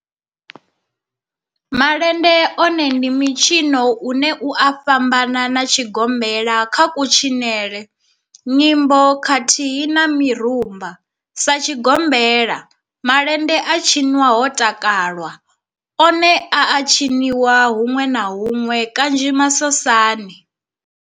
Malende one ndi mitshino une u a fhambana na tshigombela kha kutshinele, nyimbo khathihi na mirumba, Sa tshigombela, malende a tshinwa ho takalwa, one a a tshiniwa hunwe na hunwe kanzhi masosani.